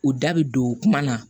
U da bɛ don kuma na